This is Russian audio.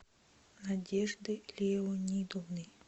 надежды леонидовны